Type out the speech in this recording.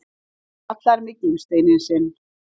Hann kallar mig gimsteininn sinn!